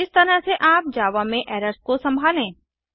इस तरह से आप जावा में एरर्स को संभालें